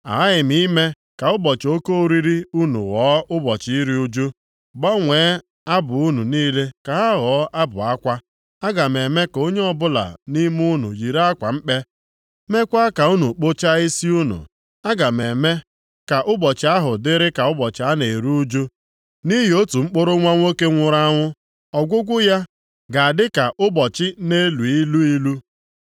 Aghaghị m ime ka ụbọchị oke oriri unu ghọọ ụbọchị iru ụjụ; gbanwee abụ unu niile ka ha ghọọ abụ akwa. Aga m eme ka onye ọbụla nʼime unu yiri akwa mkpe, meekwa ka unu kpụchaa isi unu. Aga m eme ka ụbọchị ahụ dịrị ka ụbọchị a na-eru ụjụ, nʼihi otu mkpụrụ nwa nwoke nwụrụ anwụ. Ọgwụgwụ ya ga-adịka ụbọchị na-elu ilu ilu.